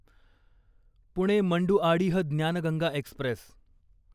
Pune Manduadih Gyan Ganga Express